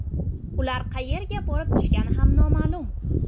Ular qayerga borib tushgani ham noma’lum.